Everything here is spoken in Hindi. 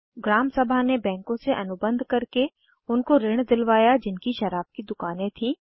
ग्राम सभा ने बैंकों से अनुबंध करके उनको ऋण दिलवाया जिनकी शराब की दुकानें थीं